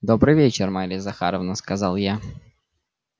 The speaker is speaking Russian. добрый вечер марья захаровна сказал я